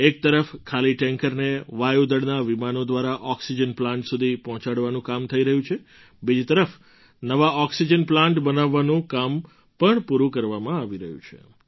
એક તરફ ખાલી ટૅન્કરને વાયુ દળનાં વિમાનો દ્વારા ઑક્સિજન પ્લાન્ટ સુધી પહોંચાડવાનું કામ થઈ રહ્યું છે બીજી તરફ નવા ઑક્સિજન પ્લાન્ટ બનાવવાનું કામ પણ પૂરું કરવામાં આવી રહ્યું છે